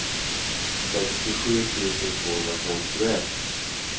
sextiosju tusen tvåhundrafemtioett